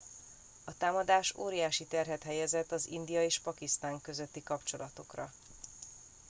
a támadás óriási terhet helyezett az india és pakisztán közötti kapcsolatokra